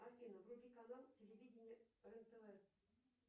афина вруби канал телевидения рен тв